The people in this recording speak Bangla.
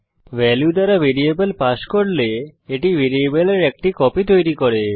ভ্যালু দ্বারা ভ্যারিয়েবল পাস করলে এটি ভ্যারিয়েবলের একটি কপি তৈরী করে